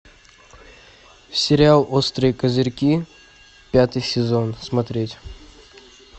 сериал острые козырьки пятый сезон смотреть